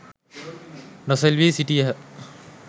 නොසෙල්වී සිටියහ.